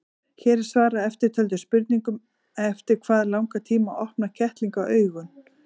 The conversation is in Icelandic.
Hér er svarað eftirtöldum spurningum: Eftir hvað langan tíma opna kettlingar augun?